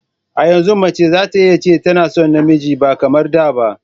A yanzu mace zata iya cewa tana son namiji ba kamar da ba